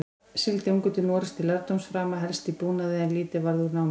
Sigldi ungur til Noregs til lærdómsframa, helst í búnaði, en lítið varð úr námi.